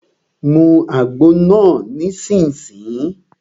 Mu àgbo náà nísìsiyìí!